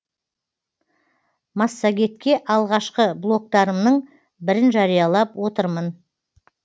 массагетке алғашқы блогтарымның бірін жариялап отырмын